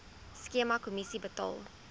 skema kommissie betaal